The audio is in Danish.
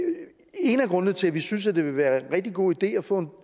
en af grundene til at vi synes at det vil være en rigtig god idé at få